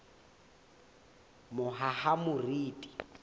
mohahamoriti